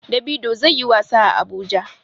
Davido zai yi wasa a Abuja.